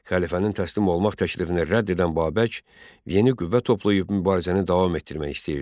Xəlifənin təslim olmaq təklifini rədd edən Babək yeni qüvvə toplayıb mübarizəni davam etdirmək istəyirdi.